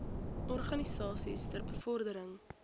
organisasies ter bevordering